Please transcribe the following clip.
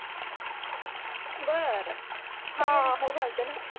बर हा हो घालते ना